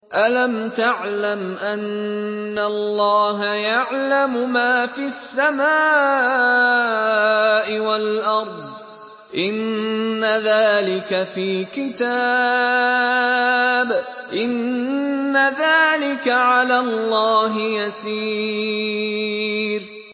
أَلَمْ تَعْلَمْ أَنَّ اللَّهَ يَعْلَمُ مَا فِي السَّمَاءِ وَالْأَرْضِ ۗ إِنَّ ذَٰلِكَ فِي كِتَابٍ ۚ إِنَّ ذَٰلِكَ عَلَى اللَّهِ يَسِيرٌ